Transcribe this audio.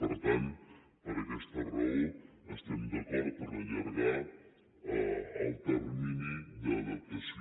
per tant per aquesta raó estem d’acord a allargar el termini d’adaptació